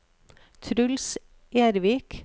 Truls Ervik